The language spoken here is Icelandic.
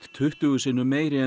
tuttugu sinnum meiri en